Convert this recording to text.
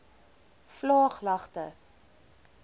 vlaaglagte